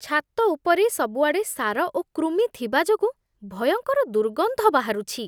ଛାତ ଉପରେ ସବୁଆଡ଼େ ସାର ଓ କୃମି ଥିବା ଯୋଗୁଁ ଭୟଙ୍କର ଦୁର୍ଗନ୍ଧ ବାହାରୁଛି।